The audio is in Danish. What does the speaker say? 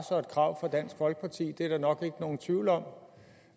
og et krav fra dansk folkeparti det er der nok ikke nogen tvivl om